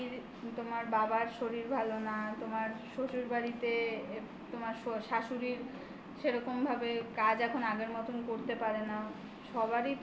তোমার বাপের বাড়ি তোমার বাবার শরীর ভালো না তোমার শ্বশুরবাড়িতে তোমার শাশুড়ির সেরকম ভাবে কাজ এখন আগের মতন করতে পারে না সবারই